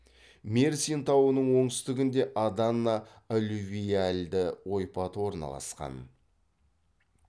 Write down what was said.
мерсин тауының оңтүстігінде адана аллювиальды ойпаты орналасқан